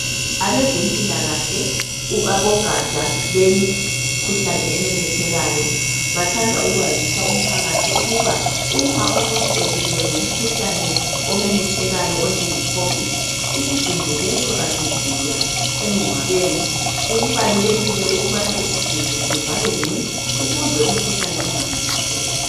Abezempilakahle abogatsha lwemikhuhlane ememethekayo. Bathanda ukwazisa umphakathi ukuba umuntu ebulewe ngumkhuhlane omemethekayo onjenge covid . Isidumbu leso asivulwa emngcwabeni. Kubalulekile ukuba isidumbu sivalwe ngci ukuze umkhuhlane ungamemetheki.